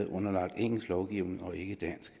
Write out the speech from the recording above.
underlagt engelsk lovgivning og ikke dansk